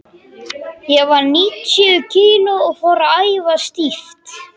Ég var níutíu kíló og fór að æfa stíft.